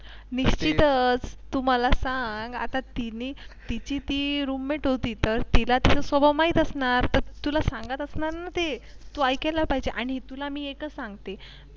निश्चितच तू मला सांग आता तिने तिची ती Roommate होती तर तिलातिचा स्वभाव माहीत असणार, तर तुला सांगत असणार ना ते तू ऐकला पाहिजे आणि तुला मी एकच सांगते.